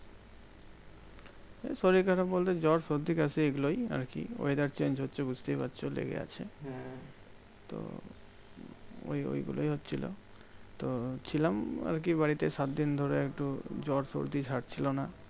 এ শরীর খারাপ বলতে জ্বর সর্দি কাশি এগুলোই আর কি? weather change হচ্ছে বুঝতেই পারছো লেগে আছে। তো ওই ওই গুলোই হচ্ছিলো। তো ছিলাম আর কি বাড়িতে সাত দিন ধরে একটু জ্বর সর্দি ছাড়ছিল না।